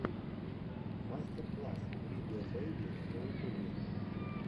мастер класс видео бэйби на ютубе